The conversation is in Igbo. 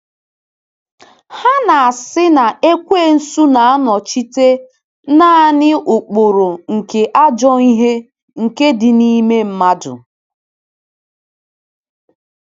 Ha na-asị na Ekwensu na-anọchite naanị ụkpụrụ nke ajọ ihe nke dị n’ime mmadụ.